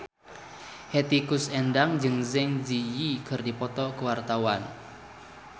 Hetty Koes Endang jeung Zang Zi Yi keur dipoto ku wartawan